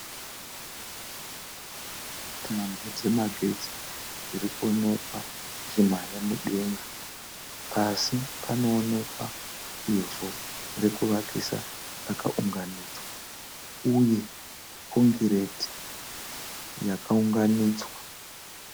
Tambo dzemagetsi dzirirkuoneka dzichimhanya mudenga, pasi panoonekwa ivhu rekuvakisa rakaunganidzwa uye concrete yakaunganidzwa.